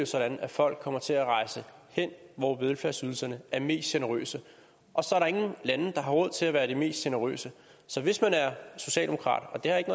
sådan at folk kommer til at rejse hen hvor velfærdsydelserne er mest generøse og så er der ingen lande der har råd til at være det mest generøse så hvis man er socialdemokrat og det har ikke